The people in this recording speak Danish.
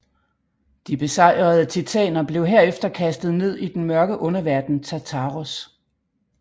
De besejrede titaner blev herefter kastet ned i den mørke underverden Tartaros